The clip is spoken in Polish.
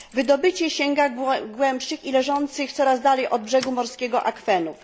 Wydobycie sięga głębszych i leżących coraz dalej od brzegu morskiego akwenów.